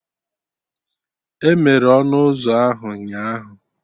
Emere ọnụ ụzọ ahụ ụnyaahụ